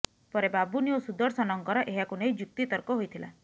ପରେ ବାବୁନି ଓ ସୁଦର୍ଶନଙ୍କର ଏହାକୁ ନେଇ ଯୁକ୍ତିତର୍କ ହୋଇଥିଲା